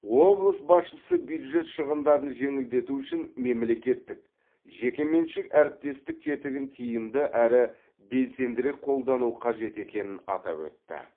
облыс басшысы бюджет шығындарын жеңілдету үшін мемлекеттік жекеменшік әріптестік тетігін тиімді әрі белсендірек қолдану қажет екенін атап өтті